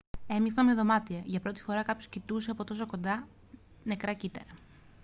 έμοιαζαν με δωμάτια για πρώτη φορά κάποιος κοιτούσε από τόσο κοντά νεκρά κύτταρα